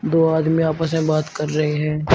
दो आदमी आपस में बात कर रहे हैं।